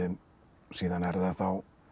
síðan er það þá